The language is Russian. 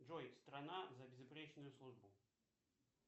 джой страна за безупречную службу